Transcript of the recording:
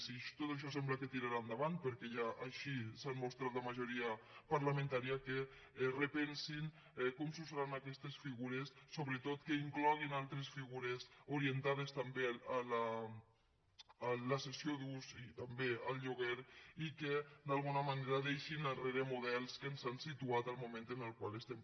si tot això sembla que tirarà endavant perquè ja així s’hi ha mostrat la majoria parlamentària repensinse com s’usaran aquestes figures sobretot que incloguin altres figures orientades també a la cessió d’ús i també al lloguer i que d’alguna manera deixin enrere models que ens han situat en el moment en el qual estem